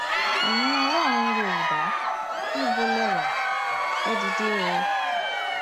ẹyin ọlọrun yorùbá níbo lè wá ẹ dìde o